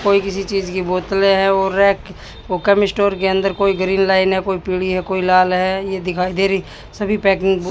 कोई किसी चीज की बोतलें है वो रैक वो कम स्टोर के अंदर कोई ग्रील लाइन है कोई पीली है कोई लाल है ये दिखाई दे रही सभी पैकिंग बु--